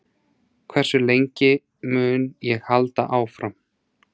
Hversu lengi mun ég halda áfram?